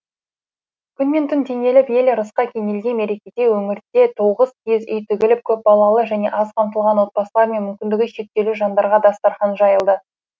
күн мен түн теңеліп ел ырысқа кенелген мерекеде өңірде тоғыз киіз үй тігіліп көпбалалы және аз қамтылған отбасылар мен мүмкіндігі шектеулі жандарға дастархан жайылды